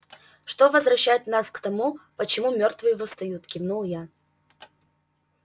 что возвращает нас к тому почему мёртвые восстают кивнул я